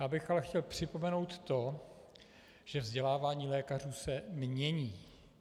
Já bych chtěl ale připomenout to, že vzdělávání lékařů se mění.